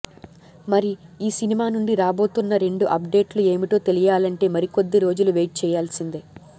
మరి ఈ సినిమా నుండి రాబోతున్న రెండు అప్డేట్లు ఏమిటో తెలియాలంటే మరికొద్ది రోజులు వెయిట్ చేయాల్సిందే